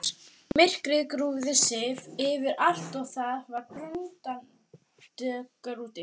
Myrkrið grúfði sig yfir allt og það var brunagaddur úti.